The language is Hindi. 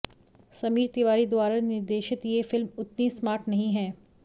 समीर तिवारी द्वारा निर्देशित ये फिल्म उतनी स्मार्ट नहीं है